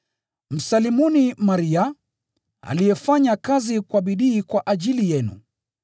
Msalimuni Maria, aliyefanya kazi kwa bidii kwa ajili yenu.